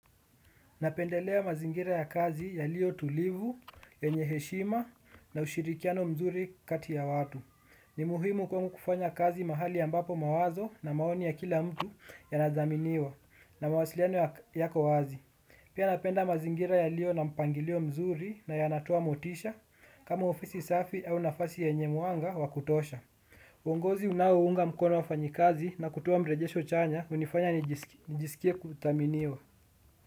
Napendelea mazingira ya kazi yaliyo tulivu, yenye heshima na ushirikiano mzuri kati ya watu. Ni muhimu kwangu kufanya kazi mahali ambapo mawazo na maoni ya kila mtu yanathaminiwa na mawasiliano yako wazi. Pia napenda mazingira yaliyo na mpangilio mzuri na yanatoa motisha kama ofisi safi au nafasi yenye mwanga wa kutosha. Uongozi unaounga mkono wafanyakazi na kutoa mrejesho chanya hunifanya nijisikie kuthaminiwa.